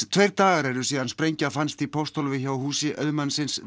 tveir dagar eru síðan sprengja fannst í pósthólfi hjá húsi auðmannsins